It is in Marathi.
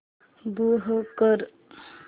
मूव्ह कर